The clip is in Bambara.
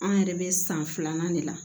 An yɛrɛ bɛ san filanan de la